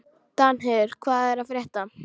Danheiður, hvað er að frétta?